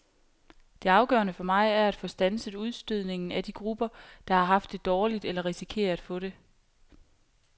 Det afgørende for mig er at få standset udstødningen af de grupper, der har haft det dårligt eller risikerer at få det.